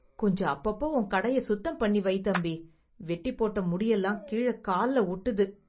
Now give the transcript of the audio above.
கொஞ்சம் அப்பப்ப உன் கடைய சுத்தம் பண்ணி வை தம்பி, வெட்டி போட்ட முடியெல்லாம் கீழ கால்ல ஒட்டுது.